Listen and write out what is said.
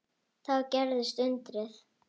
Þá gerðist undrið.